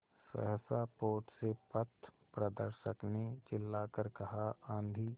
सहसा पोत से पथप्रदर्शक ने चिल्लाकर कहा आँधी